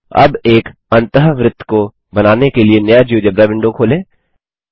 अब एक अन्तःवृत्त को बनाने के लिए नया जियोजेब्रा विंडो खोलें